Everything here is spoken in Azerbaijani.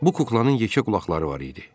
Bu kuklanın yekə qulaqları var idi.